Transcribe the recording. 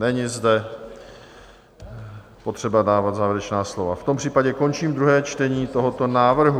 Není zde potřeba dávat závěrečná slova, v tom případě končím druhé čtení tohoto návrhu.